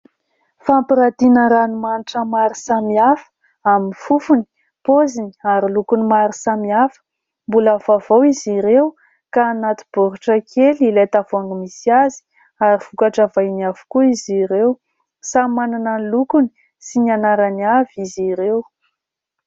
Fampiratiana ranomanitra maro samihafa amin'ny fofony, poziny ary lokony maro samihafa; mbola vaovao izy ireo ka anaty baoritra kely ilay tavoahangy misy azy ary vokatra vahiny avokoa izy ireo, samy manana ny lokony sy ny anarany avy izy ireo.